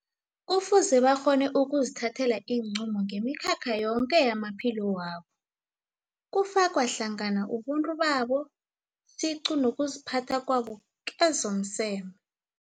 Kufuze bakghone ukuzithathelaiinqunto ngemikhakha yoke yamaphilo wabo, kufakwa hlangana ubuntu babo siqu nokuziphatha kwabo kezomseme.